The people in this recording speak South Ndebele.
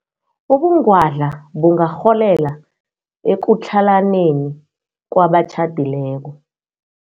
Ubungwadla bungarholela ekutlhalaneni kwabatjhadileko.